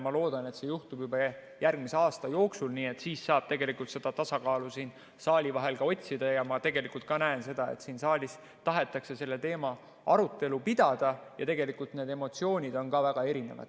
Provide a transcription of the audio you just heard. Ma loodan, et see juhtub juba järgmisel aasta jooksul, nii et siis saab seda tasakaalu siin saalis olijate vahel ka otsida, ja ma näen seda, et siin saalis tahetakse selle teema arutelu pidada ja need emotsioonid on väga erinevad.